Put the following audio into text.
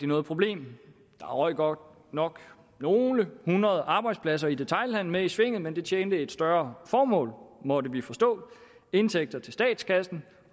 noget problem der røg godt nok nogle hundrede arbejdspladser i detailhandelen med i svinget men det tjente et større formål måtte vi forstå indtægter til statskassen